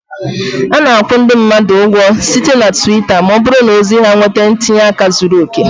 Ana akwụ ndị mmadụ ụgwọ site na Twitter ma ọ bụrụ na ozi ha nwetara ntinye aka zuru oke